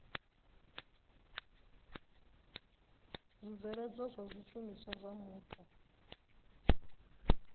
zwibveledzwa zwa zwishumiswa zwa mupo